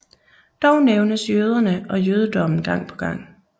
Dog nævnes jøderne og jødedommen gang på gang